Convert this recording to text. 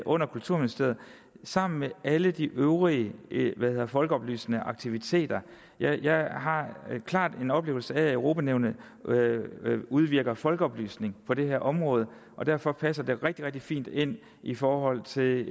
under kulturministeriet sammen med alle de øvrige folkeoplysende aktiviteter jeg jeg har klart en oplevelse af at europa nævnet udvirker folkeoplysning på det her område og derfor passer det rigtig rigtig fint ind i forhold til